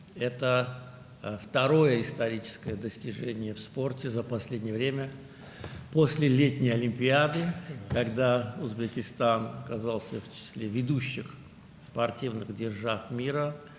Bu, Özbəkistanın dünyanın aparıcı idman dövlətləri sırasına daxil olduğu Yay Olimpiadasından sonra idmanda son zamanlar əldə olunan ikinci tarixi nailiyyətdir.